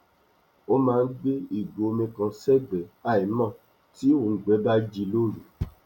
ó máa n gbé ìgò omi kan sẹgbẹ àímò tí òùngbẹ bá ji loru